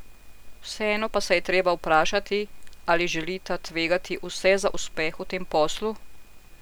Vseeno pa se je treba vprašati, ali želita tvegati vse za uspeh v tem poslu?